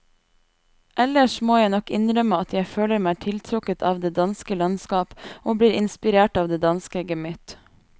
Ellers må jeg nok innrømme at jeg føler meg tiltrukket av det danske landskap og blir inspirert av det danske gemytt.